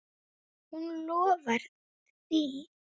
Hún lofar því.